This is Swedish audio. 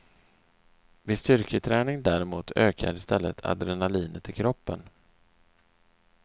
Vid styrketräning däremot ökar istället adrenalinet i kroppen.